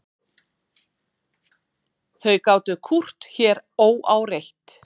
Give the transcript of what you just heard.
Þau gátu kúrt hér óáreitt.